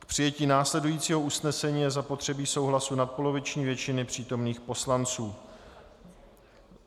K přijetí následujícího usnesení je zapotřebí souhlasu nadpoloviční většiny přítomných poslanců.